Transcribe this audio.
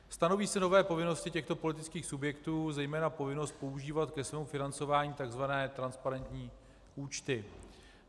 Stanoví se nové povinnosti těchto politických subjektů, zejména povinnost používat ke svému financování tzv. transparentní účty.